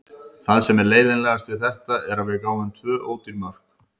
Það sem er leiðinlegast við þetta er að við gáfum tvö ódýr mörk.